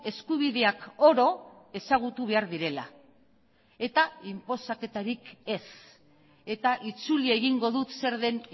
eskubideak oro ezagutu behar direla eta inposaketarik ez eta itzuli egingo dut zer den